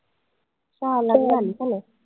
साहा lakh झाली का नाय